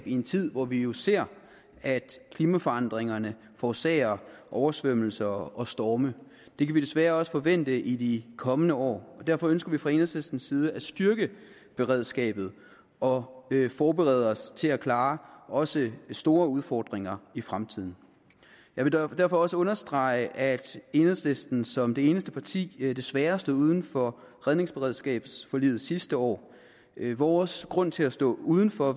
i en tid hvor vi jo ser at klimaforandringerne forårsager oversvømmelser og storme det kan vi desværre også forvente i de kommende år og derfor ønsker vi fra enhedslistens side at styrke beredskabet og forberede os til at klare også store udfordringer i fremtiden jeg vil derfor også understrege at enhedslisten som det eneste parti desværre stod uden for redningsberedskabsforliget sidste år vores grund til at stå uden for